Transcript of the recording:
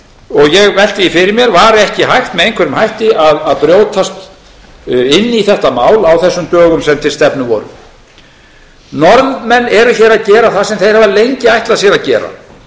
ég velti því fyrir mér var ekki hægt með einhverjum hætti að brjótast inn í þetta mál á þessum dögum sem til stefnu voru norðmenn eru hér að gera það sem þeir hafa lengi ætlað sér að gera